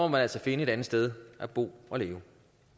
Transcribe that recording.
man altså finde et andet sted at bo og leve